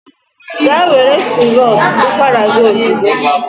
Gaa were sirop ụkwara gị ozugbo!